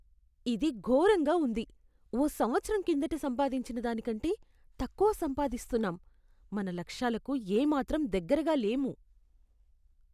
ఇది ఘోరంగా ఉంది! ఓ సంవత్సరం కిందట సంపాదించిన దాని కంటే తక్కువ సంపాదిస్తున్నాం, మన లక్ష్యాలకు ఏ మాత్రం దగ్గరగా లేము.